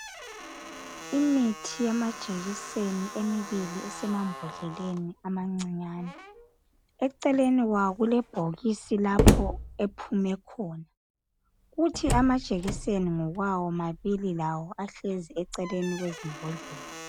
Imithi yamajekiseni emibili esemambodleleni amancinyane, eceleni kwawo kulebhokisi lapho ephume khona , kuthi amajekiseni ngokwawo mabili lawo ahlezi eceleni kwezimbodlela.